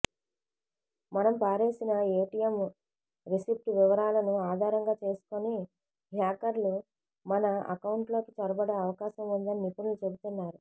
మనం పారేసిన ATM receipt వివరాలను ఆధారంగా చేసుకుని హ్యాకర్లు మన అకౌంట్లలోకి చొరబడే అవకాశం ఉందని నిపుణులు చెబుతున్నారు